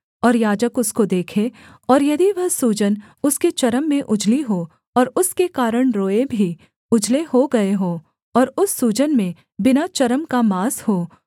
और याजक उसको देखे और यदि वह सूजन उसके चर्म में उजली हो और उसके कारण रोएँ भी उजले हो गए हों और उस सूजन में बिना चर्म का माँस हो